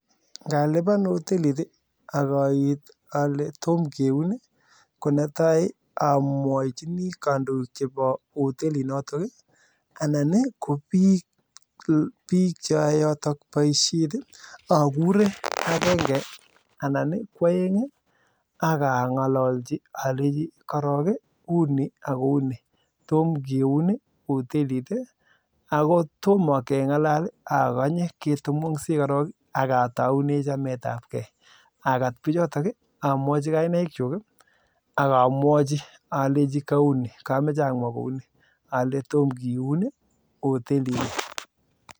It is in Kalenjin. Ngaliban hotelit ii akait alee tomoo kiun ii netai amwachinii kandoik chepoo hotelit notok akuree akangololchi alechi unii ako unii tomkiun hotelit nii